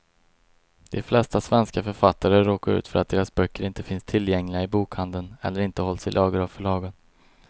De flesta svenska författare råkar ut för att deras böcker inte finns tillgängliga i bokhandeln eller inte hålls i lager av förlagen.